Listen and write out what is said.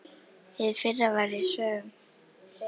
Hið fyrra var í sögnum.